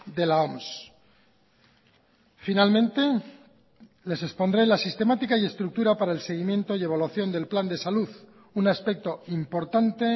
de la oms finalmente les expondré la sistemática y estructura para el seguimiento y evaluación del plan de salud un aspecto importante